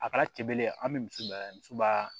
A kɛra cɛ belebele ye an bɛ misi bila misi baa